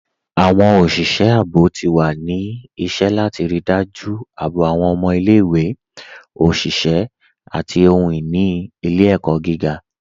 Awọn oṣiṣẹ àbọ̀ ti wà ní ìṣẹ̀ látì ríí dájú àbọ̀ awọn ọmọ ilẹ̀-ìwé, oṣiṣẹ̀, àti ohun-ini ilẹ̀-ẹkọ gígá